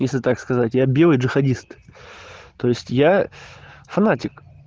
если так сказать я белый джихадист то есть я фанатик